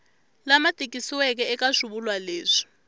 lama tikisiweke eka swivulwa leswi